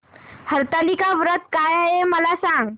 हरतालिका व्रत काय आहे मला सांग